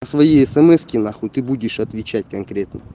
свои смс-ки нахуй ты будешь отвечать конкретно